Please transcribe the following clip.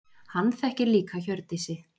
Hann þekkir líka Hjördísi.